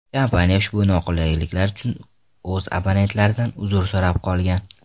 Kompaniya ushbu noqulayliklar uchun o‘z abonentlaridan uzr so‘rab qolgan.